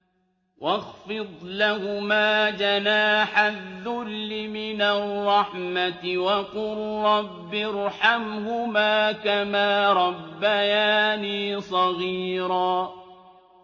وَاخْفِضْ لَهُمَا جَنَاحَ الذُّلِّ مِنَ الرَّحْمَةِ وَقُل رَّبِّ ارْحَمْهُمَا كَمَا رَبَّيَانِي صَغِيرًا